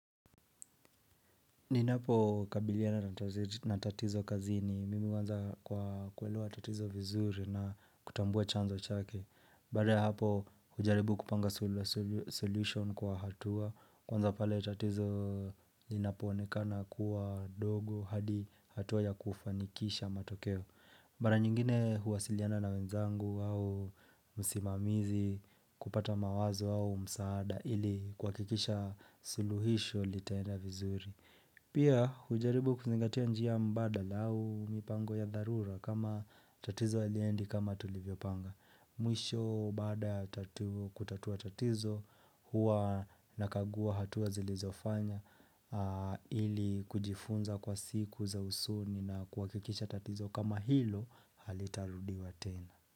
Ninapokabiliana na tatizo kazini, mimi huanza kwa kuelua tatizo vizuri na kutambua chanzo chake. Baada ya hapo hujaribu kupanga solution kwa hatua, kwanza pale tatizo linapoonekana kuwa dogo hadi hatua ya kufanikisha matokeo. Mara nyingine huwasiliana na wenzangu au msimamizi kupata mawazo au msaada ili kuhakikisha suluhisho litaenda vizuri. Pia hujaribu kuzingatia njia mbadala au mipango ya dharura kama tatizo haliendi kama tulivyopanga. Mwisho baada kutatua tatizo huwa nakagua hatua zilizofanya ili kujifunza kwa siku za usoni na kuhakikisha tatizo kama hilo halitarudiwa tena.